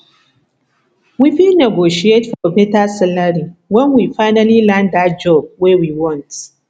we fit negotiate for beta salary when we finally land that job wey we want